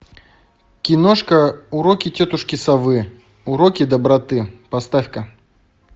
киношка уроки тетушки совы уроки доброты поставь ка